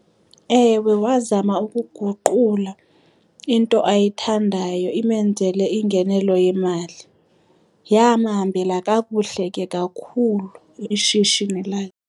Ewe, wazama ukuguqula into ayithandayo imenzele ingenelo yemali, yamhambela kakuhle ke kakhulu ishishini lakhe.